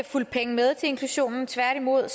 fulgt penge med til inklusionen tværtimod